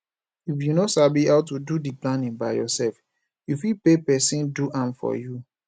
if you no sabi how to do di planning by yourself you fit pay persin do am for you